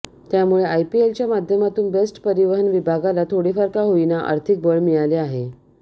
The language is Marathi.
त्यामुळे आयपीएलच्या माध्यमातून बेस्ट परिवहन विभागाला थोडेफार का होईना आर्थिक बळ मिळाले आहे